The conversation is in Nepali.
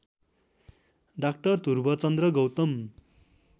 डा ध्रुवचन्द्र गौतम